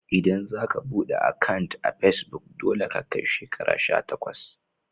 ldan za ka bude akant a'pesbuk, dolle ka kai shekaru sha takwas.